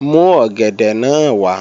Mú ọ̀gẹ̀dẹ̀ náà wá!